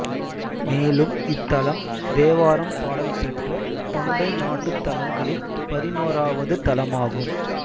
மேலும் இத்தலம் தேவாரம் பாடல் பெற்ற தொண்டை நாட்டுத்தலங்களில் பதினொறாவது தலமாகும்